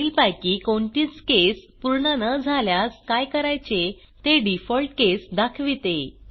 वरीलपैकी कोणतीच केस पूर्ण न झाल्यास काय करायचे ते डिफॉल्ट केस दाखविते